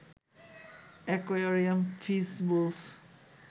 aquarium, fish bowls